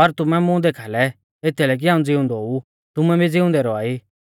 पर तुमै मुं देखाल़ै एथीलै कि हाऊं ज़िउंदौ ऊ तुमै भी ज़िउंदै रौआ ई